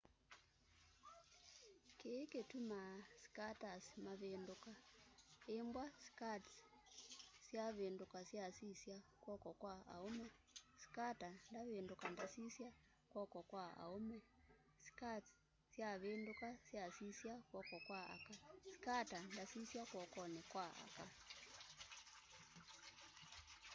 kĩĩ kĩtũmaa skaters mavĩndũka ĩmbw'a skates syavĩndũka syasisya kw'oko kwa aũme skater ndavĩndũka ndasisya kw'oko kwa aũme skates syavĩndũka syasisya kw'oko kwa aka skater ndasĩsya kw'okonĩ kwa aka